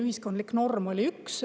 Ühiskondlik norm oli üks.